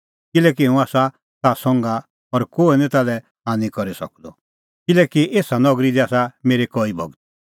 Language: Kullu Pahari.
किल्हैकि हुंह आसा ताह संघा और कोहै निं ताल्है हान्नी करी सकदअ किल्हैकि एसा नगरी दी आसा मेरै कई भगत